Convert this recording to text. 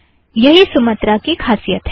यही सुमत्रा की खासियत है